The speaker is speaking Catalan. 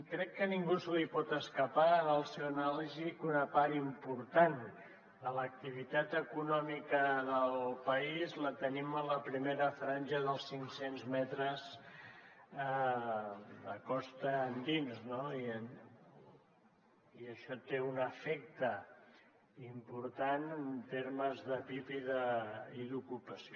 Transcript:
crec que a ningú se li pot escapar en la seva anàlisi que una part important de l’activitat econòmica del país la tenim en la primera franja els cinc cents metres de costa endins no i això té un efecte important en termes de pib i d’ocupació